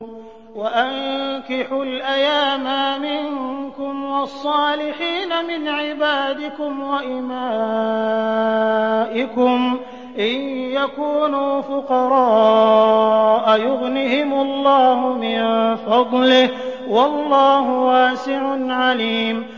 وَأَنكِحُوا الْأَيَامَىٰ مِنكُمْ وَالصَّالِحِينَ مِنْ عِبَادِكُمْ وَإِمَائِكُمْ ۚ إِن يَكُونُوا فُقَرَاءَ يُغْنِهِمُ اللَّهُ مِن فَضْلِهِ ۗ وَاللَّهُ وَاسِعٌ عَلِيمٌ